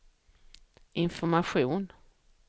information